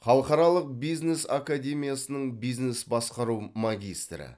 халықаралық бизнес академиясының бизнес басқару магистрі